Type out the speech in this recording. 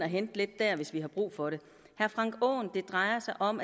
hente lidt der hvis vi har brug for det det drejer sig om